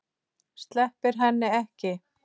Sleppir henni ekki.